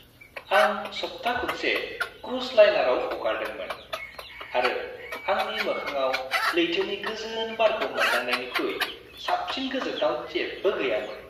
आं सप्था खुनसे क्रुज लाइनाराव हगारदोंमोन, आरो आंनि मोखांआव लैथोनि गोजोन बारखौ मोनदांनायनिख्रुइ साबसिन गोजोनथाव जेबो गैयामोन।